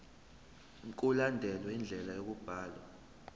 mkulandelwe indlela yokubhalwa